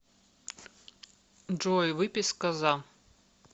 джой выписка за